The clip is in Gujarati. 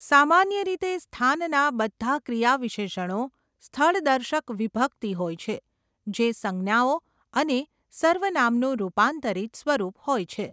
સામાન્ય રીતે સ્થાનના બધા ક્રિયાવિશેષણો 'સ્થળદર્શક વિભક્તિ' હોય છે, જે સંજ્ઞાઓ અને સર્વનામનું રૂપાંતરિત સ્વરૂપ હોય છે.